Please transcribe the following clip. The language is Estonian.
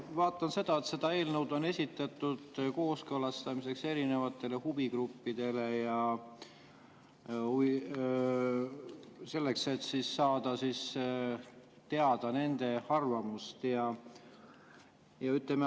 Ma vaatan, et see eelnõu on esitatud kooskõlastamiseks erinevatele huvigruppidele, selleks et saada teada nende arvamust.